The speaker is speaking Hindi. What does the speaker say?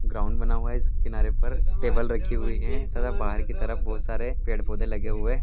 ग्राउंड बना हुआ है इस किनारे पर टेबल रखी हुई है तथा बाहर की तरफ बहुत सारे पेड़-पौधे लगे हुए--